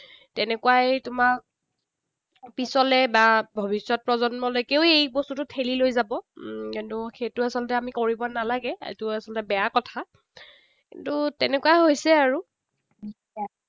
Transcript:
তেনেকুৱাই তোমাক পিছলৈ বা ভৱিষ্যত প্ৰজন্মলৈকেও এই বস্তুটো ঠেলি লৈ যাব। উম সেইটো আচলতে আমি কৰিব নালাগে। সেইটো আচলতে বেয়া কথা। কিন্তু তেনেকুৱাই হৈছে আৰু।